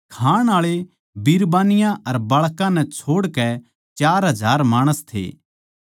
खाण आळे बिरबानियाँ अर बाळकां नै छोड़कै चार हजार माणस थे